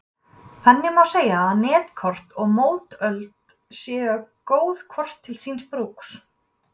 Þannig má segja að netkort og mótöld séu góð hvort til síns brúks.